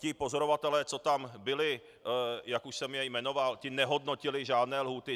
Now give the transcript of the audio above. Ti pozorovatelé, co tam byli, jak už jsem je jmenoval, ti nehodnotili žádné lhůty.